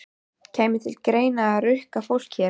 Kæmi til greina að rukka fólk hér?